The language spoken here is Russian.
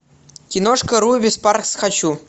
киношка руби спаркс хочу